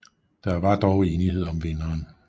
Der var dog enighed om vinderen